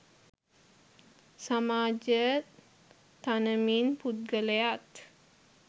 සමාජය තනමින් පුද්ගලයාත්